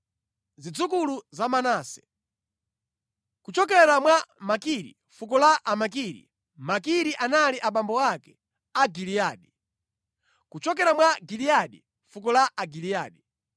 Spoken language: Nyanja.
Zidzukulu za Manase: kuchokera mwa Makiri, fuko la Amakiri (Makiri anali abambo ake a Giliyadi); kuchokera mwa Giliyadi, fuko la Agiliyadi.